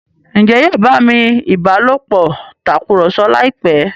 Njé yóò bá mí ìbálòpọ̀ Tàkùrọ̀sọ láìpé?